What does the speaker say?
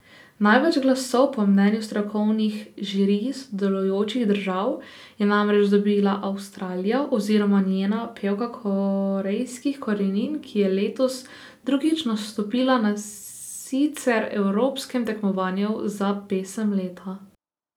Največ glasov po mnenju strokovnih žirij sodelujočih držav je namreč dobila Avstralija oziroma njena pevka korejskih korenin, ki je letos drugič nastopila na sicer evropskem tekmovanju za pesem leta.